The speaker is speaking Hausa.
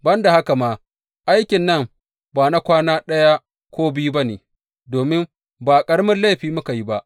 Ban da haka ma, aikin nan ba na kwana ɗaya ko biyu ba ne, domin ba ƙaramin laifi muka yi ba.